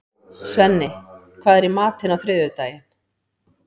Svenni, hvað er í matinn á þriðjudaginn?